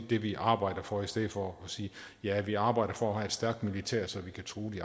det vi arbejder for i stedet for at sige at vi arbejder for at have et stærkt militær så vi kan true de